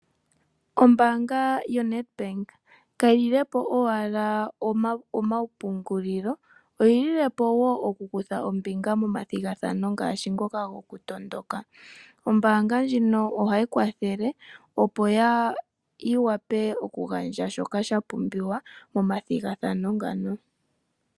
Ombaanga yo NedBank ka hi lile po owala omapungulilo. Oyi lile po wo okukutha ombinga momathigathano ngaashi ngoka gokutondondoka. Ombaanga ndjino ohayi kwathele opo yi wape okugandja shoka sha pumbiwa momathigathano ngano.